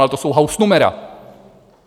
Ale to jsou hausnumera.